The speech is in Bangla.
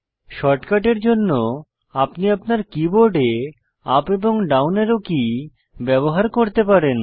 শর্টকাটের জন্য আপনি আপনার কীবোর্ডে ইউপি এবং ডাউন অ্যারো কী ব্যবহার করতে পারেন